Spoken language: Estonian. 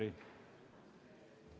Aitäh, hea istungi juhataja!